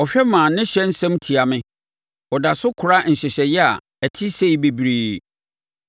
Ɔhwɛ ma ne ɔhyɛ nsɛm tia me; ɔda so kora nhyehyɛeɛ a ɛte sei bebree.